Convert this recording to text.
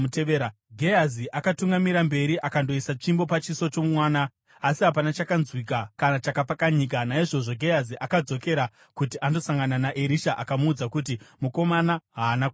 Gehazi akatungamira mberi akandoisa tsvimbo pachiso chomwana, asi hapana chakanzwika kana chakapfakanyika. Naizvozvo Gehazi akadzokera kuti andosangana naErisha akamuudza kuti, “Mukomana haana kumuka.”